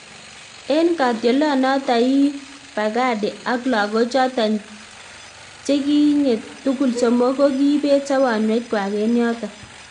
En katiolonoton ii Baghdadi ak lagochoton chiget tugul somok ko kiibet sobonwekwak en yoton.